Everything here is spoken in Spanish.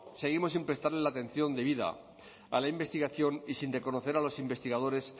seguimos sin prestarle la atención debida a la investigación y sin reconocer a los investigadores